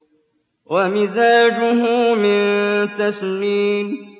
وَمِزَاجُهُ مِن تَسْنِيمٍ